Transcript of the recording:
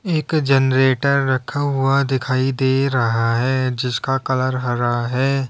एक जनरेटर रखा हुआ दिखाई दे रहा है जिसका कलर हरा है।